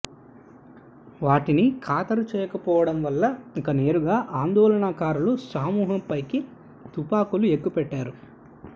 వాటిని ఖాతరు చేయకపోవడం వల్ల ఇక నేరుగా ఆందోళనకారుల సమూహంపైకి తుపాకులను ఎక్కు పెట్టారు